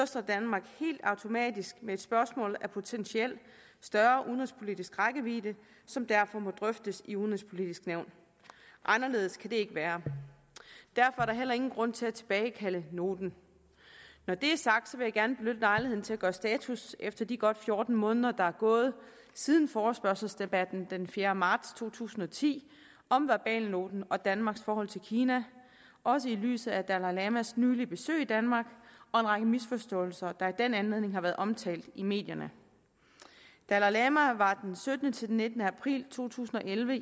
står danmark helt automatisk med et spørgsmål af potentielt større udenrigspolitisk rækkevidde som derfor må drøftes i det udenrigspolitiske nævn anderledes kan det ikke være derfor er der heller ingen grund til at tilbagekalde noten når det er sagt vil jeg gerne benytte lejligheden til at gøre status efter de godt fjorten måneder der er gået siden forespørgselsdebatten den fjerde marts to tusind og ti om verbalnoten og danmarks forhold til kina også i lyset af dalai lamas nylige besøg i danmark og en række misforståelser der i den anledning har været omtalt i medierne dalai lama var den syttende til den nittende april to tusind og elleve